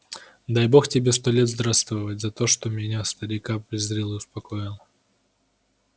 дай бог тебе сто лет здравствовать за то что меня старика призрил и успокоил